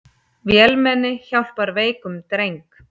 Vélmenni hjálpar veikum dreng